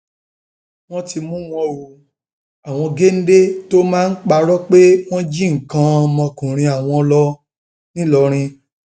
wọn ti mú wọn o àwọn géńdé tó máa parọ pé wọn jí nǹkan ọmọkùnrin àwọn lọ ńìlọrin